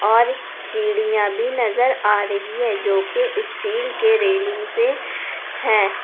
और सीढ़ियां भी नजर आ रही है जोकि स्टील के रेलिंग से है।